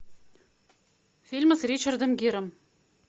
фильмы с ричардом гиром